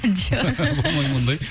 жоқ болмайды ма ондай